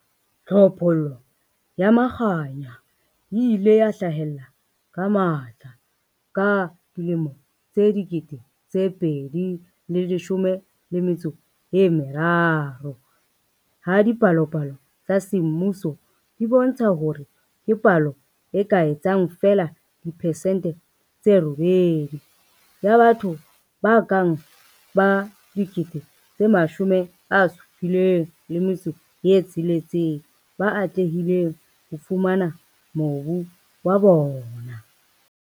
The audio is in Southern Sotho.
Tlhophollo ya Makhanya e ile ya hlahella ka matla ka 2013 ha dipalopalo tsa semmuso di bontsha hore ke palo e ka etsang feela dipesente tse 8 ya batho ba ka bang 76 000 ba atlehileng ho fumana mobu wa bona.